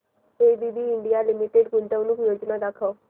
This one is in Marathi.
एबीबी इंडिया लिमिटेड गुंतवणूक योजना दाखव